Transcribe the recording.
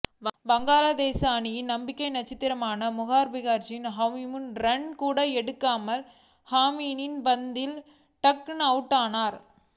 வங்கதேச அணியின் நம்பிக்கை நட்சத்திரமான முஷ்ஃபிகுர் ரஹீமும் ஒரு ரன் கூட எடுக்காமல் ஷமியின் பந்தில் டக் அவுட்டானார்